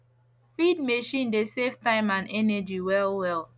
feed machine dey save time and energy well well